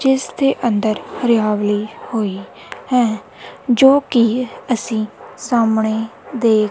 ਜਿਸ ਦੇ ਅੰਦਰ ਹਰਿਆਵਲੀ ਹੋਈ ਹੈ ਜੋ ਕੀ ਅਸੀਂ ਸਾਹਮਣੇ ਦੇਖ।